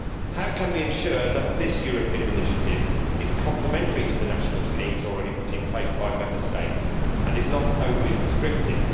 How can we ensure that this European initiative is complementary to the national schemes already put in place by Member States and is not overly prescriptive?